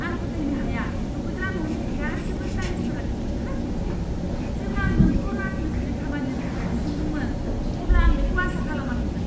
आं फोथायनो हाया दुगैग्रा न'नि गासिबो टाइल्सफोरा खेंख्रा खेंख्रि। जेब्ला आं नोंखौ राजमिस्ट्रि खामानिनि थाखाय थिसनदोंमोन, अब्ला आं बेखौ आसा खालामाखैमोन!